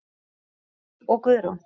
Karl Helgi og Guðrún.